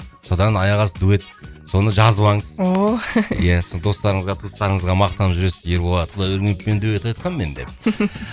содан аяқ асты дуэт соны жазып алыңыз ооо иә сосын достарыңызға туыстарыңызға мақтанып жүресіз ерболат құдайбергеновпен дуэт айтқам мен деп